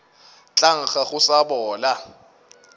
tla nkga go sa bola